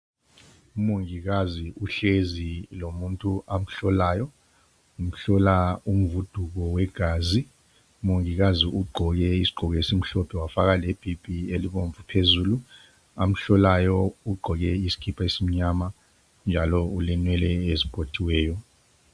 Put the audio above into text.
u mongikazi uhlezi lomuntu amhlolayo umhlola umvuduko wegazi umongikazi ugqoke isigqoko esimhlophe wafaka lebhibhi elibomvu phezulu amhlolayo ugqoke isikipa esimnyama njalo ulenwele eziphothiweyo